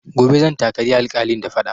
Gobe zan takali alƙalin da faɗa